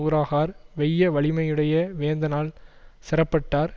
உளராகார் வெய்ய வலிமையுடைய வேந்தனால் செறப்பட்டார்